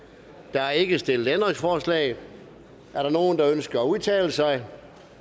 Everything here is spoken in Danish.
der er ikke stillet ændringsforslag er der nogen der ønsker at udtale sig